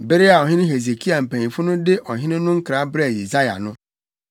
Bere a Ɔhene Hesekia mpanyimfo no de ɔhene no nkra brɛɛ Yesaia no,